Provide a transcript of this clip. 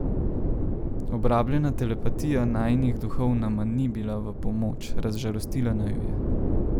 Obrabljena telepatija najinih duhov nama ni bila v pomoč, razžalostila naju je.